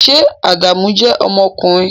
Ṣé Adamu jẹ́ ọmọkùnrin?